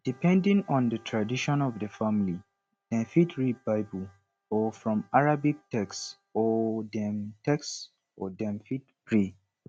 depending on di tradition of di family dem fit read bible or from arabic text or dem text or dem fit pray